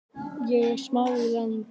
Ég á smá í land